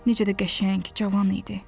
Necə də qəşəng, cavan idi.